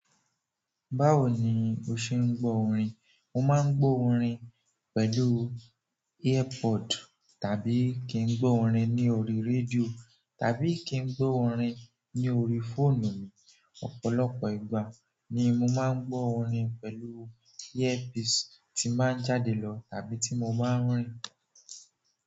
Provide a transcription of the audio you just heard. Báwo ni o ṣe ń gbọ́ orin? Mo máa ń gbọ́ orin pẹ̀lú airpod tàbí kí n gbọ́ orin ní orí rédíò tàbí kí n gbọ́ orin ní orí fóònù mi. Ọ̀pọ̀lọpọ̀ ìgbà ni mo máa ń gbọ́ orin pẹ̀lú earpiece tí n bá ń jáde lọ tàbí tí mo máa ń rìn.